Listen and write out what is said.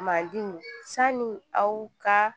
Madenw sanni aw ka